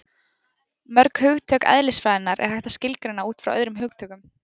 Mörg hugtök eðlisfræðinnar er hægt að skilgreina út frá öðrum hugtökum.